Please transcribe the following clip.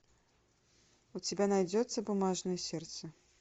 у тебя найдется бумажное сердце